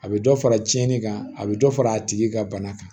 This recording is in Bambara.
A bɛ dɔ fara tiɲɛni kan a bɛ dɔ fara a tigi ka bana kan